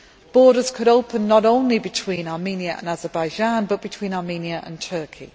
Borders could open not only between Armenia and Azerbaijan, but also between Armenia and Turkey.